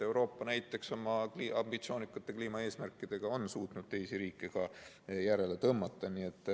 Euroopa oma ambitsioonikate kliimaeesmärkidega on suutnud teisi riike ka järele tõmmata.